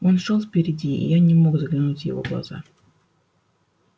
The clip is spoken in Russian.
он шёл впереди и я не мог заглянуть в его глаза